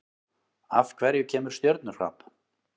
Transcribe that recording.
Af hverju kemur stjörnuhrap?